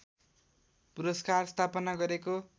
पुरस्कार स्थापना गरेको